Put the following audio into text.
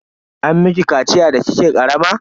An miki kaciya da kike karama?